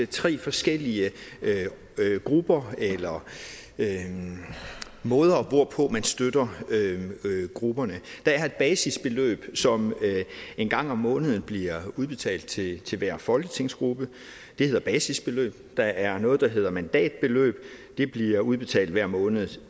tre forskellige grupper eller måder hvorpå man støtter grupperne der er et basisbeløb som en gang om måneden bliver udbetalt til til hver folketingsgruppe det hedder basisbeløb der er noget der hedder mandatbeløb det bliver udbetalt hver måned